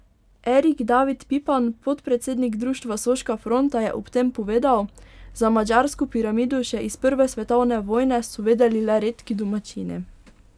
Erik David Pipan, podpredsednik Društva Soška fronta, je ob tem povedal: 'Za madžarsko piramido še iz prve svetovne vojne so vedeli le redki domačini.